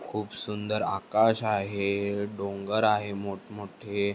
खुप सुंदर आकाश आहे. डोंगर आहे मोठमोठे.